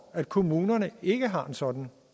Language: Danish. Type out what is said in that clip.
at kommunerne ikke har en sådan